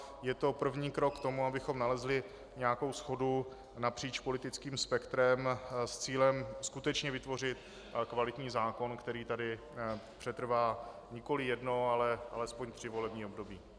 Je to první krok k tomu, abychom nalezli nějakou shodu napříč politickým spektrem s cílem skutečně vytvořit kvalitní zákon, který tady přetrvá nikoli jedno, ale alespoň tři volební období.